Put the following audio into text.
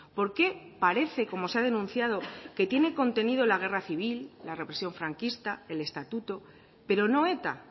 por qué parece como se ha denunciado que tiene contenido la guerra civil la represión franquista el estatuto pero no eta